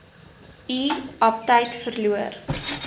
u aptyt verloor